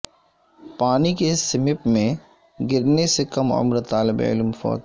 پانی کے سمپ میں گرنے سے کم عمر طالب علم فوت